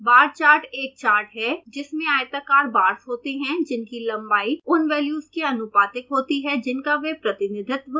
बार chart एक chart है जिसमें आयताकार बार्स होते हैं जिनकी लंबाई उन वेल्यूज के अनुपातिक होती है जिनका वे प्रतिनिधित्व करते हैं